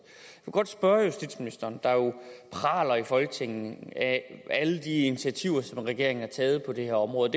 ministeren praler jo i folketinget af alle de initiativer som regeringen har taget på det her område